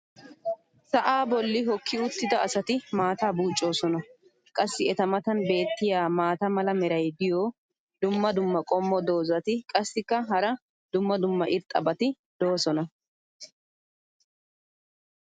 sa"aa boli hookki uttida asati maataa buuccoosona. qassi eta matan beetiya maata mala meray diyo dumma dumma qommo dozzati qassikka hara dumma dumma irxxabati doosona.